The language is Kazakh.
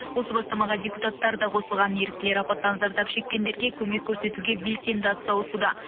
осы бастамаға депутаттар да қосылған еріктілер апаттан зардап шеккендерге көмек көрсетуге белсенді атсалысуда